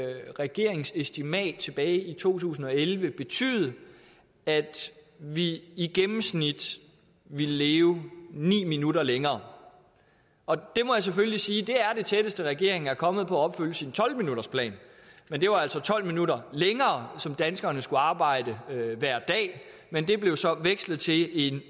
regeringens estimat tilbage i to tusind og elleve betyde at vi i gennemsnit ville leve ni minutter længere og det må jeg selvfølgelig sige er det tætteste regeringen er kommet på at opfylde sin tolv minuttersplan det var altså tolv minutter længere som danskerne skulle arbejde hver dag men det blev så vekslet til en